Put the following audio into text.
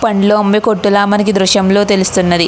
పండ్లు అమ్మే కొట్టు ల మనకి ఈ దృశ్యం లో తెలుస్తున్నది.